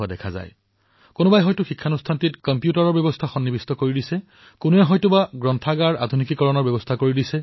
আপোনালোকে দেখিছে যে প্ৰাক্তন ছাত্ৰছাত্ৰীসকলৰ গোটে কেতিয়াবা কেতিয়াবা নিজৰ বিদ্যালয়লৈ কিবা অৰিহণা আগবঢ়ায়